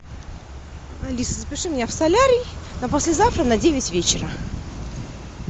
алиса запиши меня в солярий на послезавтра на девять вечера